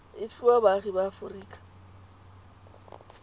e fiwa baagi ba aforika